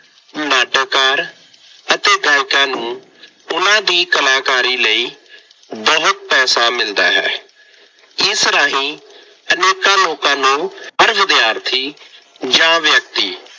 ਨਾਟਕਕਾਰ ਅਤੇ ਗਾਇਕਾਂ ਨੂੰ ਉਹਨਾ ਦੀ ਕਲਾਕਾਰੀ ਲਈ ਬਹੁਤ ਪੈਸਾ ਮਿਲਦਾ ਹੈ। ਇਸ ਰਾਹੀਂ ਅਨੇਕਾਂ ਲੋਕਾਂ ਨੂੰ ਹਰ ਵਿਦਿਆਰਥੀ ਜਾਂ ਵਿਅਕਤੀ